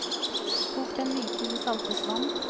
Kok dem myke i saltet vann.